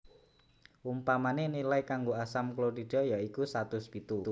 Umpamané nilai kanggo asam klorida ya iku satus pitu